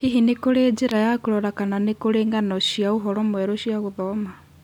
Hihi nĩ kũrĩ njĩra ya kũrora kana nĩ kũrĩ ng'ano cia ũhoro mwerũ cia gũthoma